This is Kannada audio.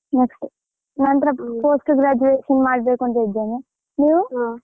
ನಂತ್ರ post graduation ಮಾಡ್ಬೇಕು ಅಂತ ಇದ್ದೇನೆ ನೀವು.